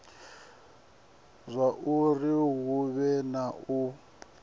zwauri hu vhe na u